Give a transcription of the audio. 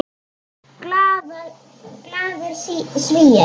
Glaðir Svíar.